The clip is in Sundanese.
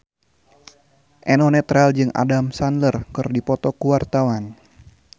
Eno Netral jeung Adam Sandler keur dipoto ku wartawan